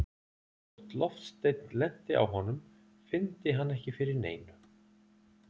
Þótt loftsteinn lenti á honum fyndi hann ekki fyrir neinu.